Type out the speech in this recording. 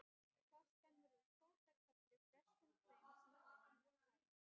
Flaskan verður fótakefli flestum þeim sem hana tæma.